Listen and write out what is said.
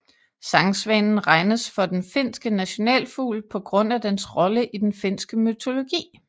Sangsvanen regnes for den finske nationalfugl på grund af dens rolle i den finske mytologi